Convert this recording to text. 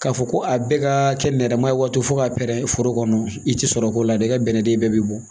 K'a fɔ ko a bɛɛ ka kɛ nɛrɛma ye waati fo ka pɛrɛn foro kɔnɔ i ti sɔrɔ k'o la dɛ i ka bɛnɛ den bɛɛ bi bɔ